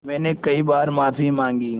मैंने कई बार माफ़ी माँगी